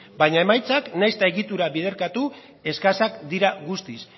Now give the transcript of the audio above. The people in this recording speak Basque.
baina emaitzak nahiz eta egitura biderkatu eskasak dira guztiz